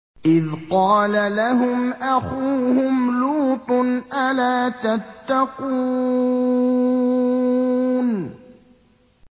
إِذْ قَالَ لَهُمْ أَخُوهُمْ لُوطٌ أَلَا تَتَّقُونَ